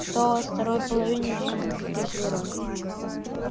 что у нас во второй половине дня спросил рон